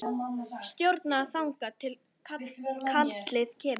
Stjórna þangað til kallið kemur.